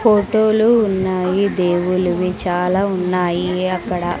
ఫోటోలు ఉన్నాయి దేవులువి చాలా ఉన్నాయి అక్కడ.